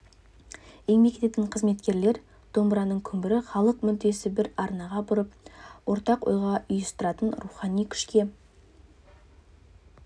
еңбек ететін қызметкерлер домбыраның күмбірі халық мүддесін бір арнаға бұрып ортақ ойға ұйыстыратын рухани күшке